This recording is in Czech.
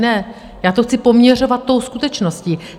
Ne, já to chci poměřovat tou skutečností.